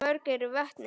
Og mörg eru vötnin.